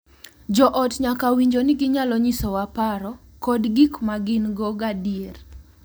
Jo ot nyaka winjo ni ginyalo nyisowa paro kod gik ma gin-go gadier .